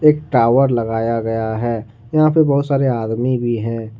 एक टावर लगाया गया है यहां पर बहुत सारे आदमी भी हैं।